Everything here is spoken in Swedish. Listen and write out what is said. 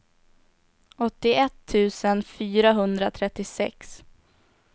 åttioett tusen fyrahundratrettiosex